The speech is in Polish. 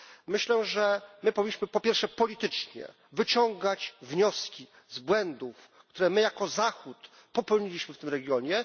Myślę, że powinniśmy po pierwsze politycznie wyciągać wnioski z błędów, które my jako Zachód popełniliśmy w tym regionie.